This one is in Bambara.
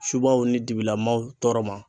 Subaw ni dibila maaw tɔɔrɔ ma.